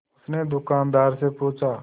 उसने दुकानदार से पूछा